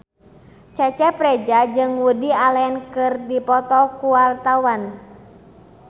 Cecep Reza jeung Woody Allen keur dipoto ku wartawan